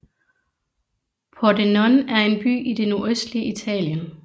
Pordenone er en by i det nordøstlige Italien